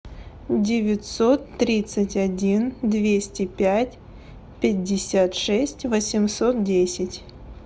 девятьсот тридцать один двести пять пятьдесят шесть восемьсот десять